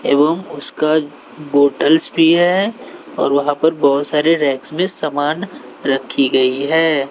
एवं उसका बॉटल्स भी है और वहां पर बहोत सारे रैक्स में समान रखी गई है।